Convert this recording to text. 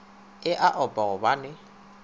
e a opa gobane o